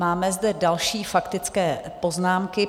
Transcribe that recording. Máme zde další faktické poznámky.